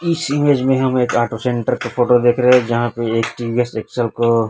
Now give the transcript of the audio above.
इस इमेज में हम एक ऑटो सेंटर का फोटो देख रहे जहा पे एक टी_वी_एस सेक्शन क--